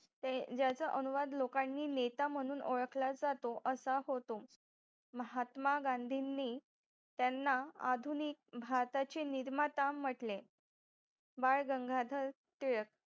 ते ज्याचा अनुवाद लोकांनी नेता म्हणून ओळखला जातो असा होतो महात्मा गांधींनी त्यांना आधुनिक भारताचे निर्माता म्हटले बाळ गंगाधर टिळक